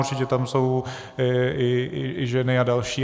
Určitě tam jsou i ženy a další.